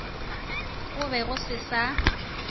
go be go se sa